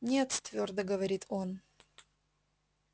нет твёрдо говорит он